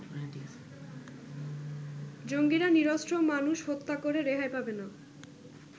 জঙ্গিরা নিরস্ত্র মানুষ হত্যা করে রেহাই পাবে না।